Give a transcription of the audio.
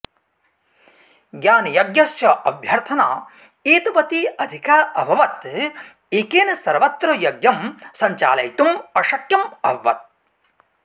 ज्ञानयज्ञस्य अभ्यर्थना एतवती अधिका अभवत् एकेन सर्वत्र यज्ञं सञ्चालयितुम् अशक्यम् अभवत्